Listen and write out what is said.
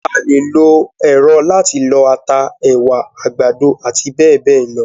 A lè lo èrọ láti lọ ata, ẹ̀wà, àgbàdo àti bẹ́ẹ̀bẹ́ẹ̀ lọ.